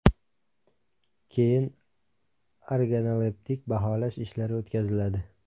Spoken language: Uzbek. Keyin organoleptik baholash ishlari o‘tkaziladi.